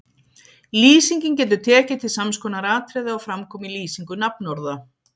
Lýsingin getur tekið til sams konar atriða og fram koma í lýsingu nafnorða